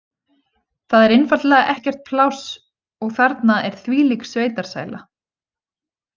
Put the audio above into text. Það er einfaldlega ekkert pláss og þarna er þvílík sveitasæla.